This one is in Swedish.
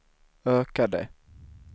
ökade